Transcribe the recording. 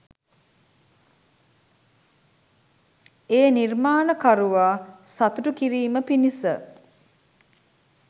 ඒ නිර්මාණකරුවා සතුටු කිරීම පිණිස